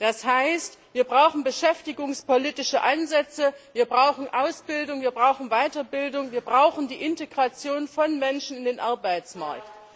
Das heißt, wir brauchen beschäftigungspolitische Ansätze, wir brauchen Ausbildung, wir brauchen Weiterbildung, wir brauchen die Integration von Menschen in den Arbeitsmarkt.